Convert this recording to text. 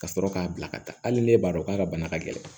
Ka sɔrɔ k'a bila ka taa hali n'e b'a dɔn k'a ka bana ka gɛlɛn